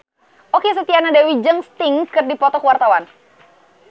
Okky Setiana Dewi jeung Sting keur dipoto ku wartawan